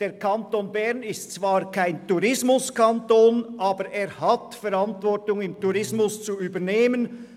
Der Kanton Bern ist zwar kein Tourismuskanton, aber er hat Verantwortung im Tourismus zu übernehmen.